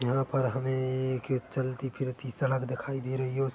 यहाँ पर हमें एक चलती फिरती सड़क दिखाई दे रही है।